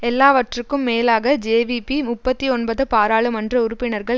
எல்லாவற்றுக்கும் மேலாக ஜேவிபி முப்பத்தி ஒன்பது பாராளுமன்ற உறுப்பினர்கள்